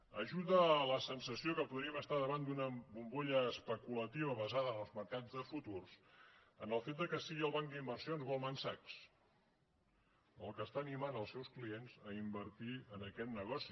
hi ajuda a la sensació que podríem estar davant d’una bombolla especulativa basada en els mercats de futurs el fet que sigui el banc d’inversions goldman sachs el que anima els seus clients a invertir en aquest negoci